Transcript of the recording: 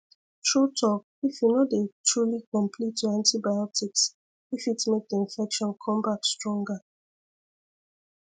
true talk if you no dey truly complete your antibiotics e fit make the infection come back stronger